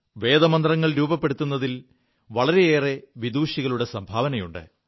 വേദമന്ത്രങ്ങൾ രൂപപ്പെടുതിൽ വളരെയേറെ വിദുഷികളുടെ സംഭാവനകളുണ്ട്